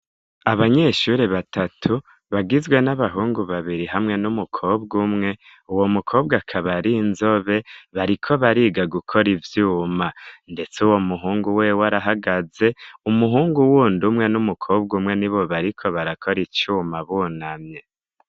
Abanyeshuri batatu bagizwe n'abahungu babiri hamwe n'umukobwa umwe uwo mukobwa kaba ari inzobe bariko bariga gukora ivyuma ndetse uwo muhungu we arahagaze umuhungu uwundi umwe n'umukobwa umwe ni bo bariko barakora icuma bunamye.